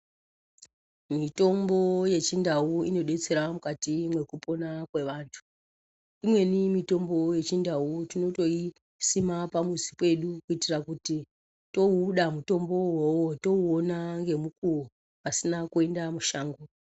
Mitombo yechindau inodetsera mukati mwekupona kwevantu. Imweni mitombo yechindau tinotoisima pamuzi pedu kuitira kuti touda mutombowo iwowo touona ngemukuwo pasina kuenda mushango.